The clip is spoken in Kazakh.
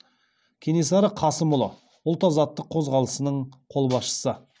кенесары қасымұлы ұлт азаттық қозғалысының қолбасшысы